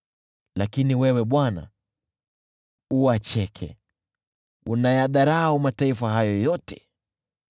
Lakini wewe, Bwana , uwacheke; unayadharau mataifa hayo yote.